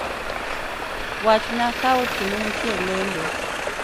Wachna ka otieno nitie e lendo